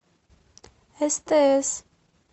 стс